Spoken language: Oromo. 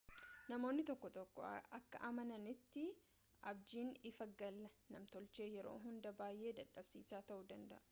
namoonni tokko tokko akka amananitti abjiin ifa galaa namtolchee yeroo hunda baay'ee dadhabsiisaa ta'uu danda'a